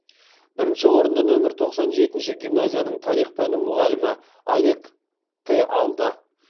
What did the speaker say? бірінші орынды нөмір тоқсан жетінші гимназияның тарих пәні мұғалімі олег те алды